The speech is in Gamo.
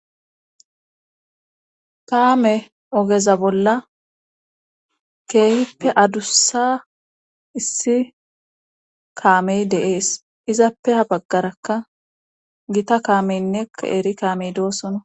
Kaame ogeza bolla keehippe adussa issi kaamey deees izappe a baggarakka gita kaameynne eri kaamey doosona